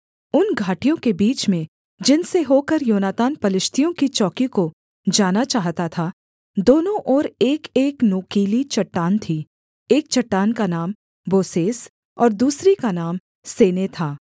उन घाटियों के बीच में जिनसे होकर योनातान पलिश्तियों की चौकी को जाना चाहता था दोनों ओर एकएक नोकीली चट्टान थी एक चट्टान का नाम बोसेस और दूसरी का नाम सेने था